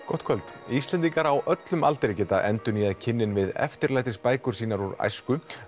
gott kvöld Íslendingar á öllum aldri geta endurnýjað kynnin við eftirlætis bækur sínar úr æsku